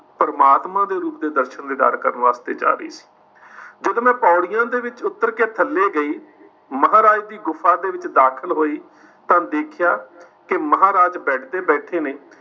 ਪਰਮਾਤਮਾ ਦੇ ਰੂਪ ਦੇ ਦਰਸ਼ਨ ਦੀਦਾਰ ਕਰਨ ਵਾਸਤੇ ਜਾ ਰਹੀ ਸੀ। ਜਦੋ ਮੈਂ ਪੌੜੀਆਂ ਦੇ ਵਿੱਚ ਉੱਤਰ ਕਿ ਥੱਲੇ ਗਈ, ਮਹਾਰਾਜ ਦੀ ਗੁਫ਼ਾ ਦੇ ਵਿੱਚ ਦਾਖਿਲ ਹੋਈ ਤਾਂ ਦੇਖਿਆ ਕਿ ਮਹਾਰਾਜ bed ਤੇ ਬੈਠੇ ਨੇ